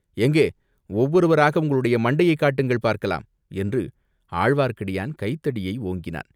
எங்கே, ஒவ்வொருவராக உங்களுடைய மண்டையைக் காட்டுங்கள் பார்க்கலாம்!" என்று ஆழ்வார்க்கடியான் கைத்தடியை ஓங்கினான்.